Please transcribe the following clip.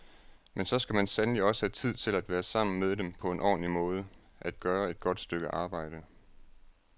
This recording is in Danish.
Men så skal man sandelig også have tid til at være sammen med dem på en ordentlig måde, at gøre et godt stykke arbejde.